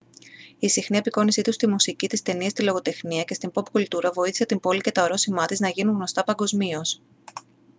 η συχνή απεικόνισή του στη μουσική τις ταινίες τη λογοτεχνία και στην ποπ κουλτούρα βοήθησε την πόλη και τα ορόσημά της να γίνουν γνωστά παγκοσμίως